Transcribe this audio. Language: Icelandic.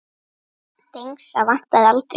Dengsa vantaði aldrei hönd.